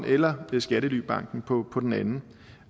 eller skattelybanken på på den anden